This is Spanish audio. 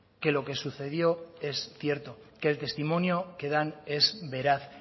que lo que sucedió es cierto que el testimonio que dan es veraz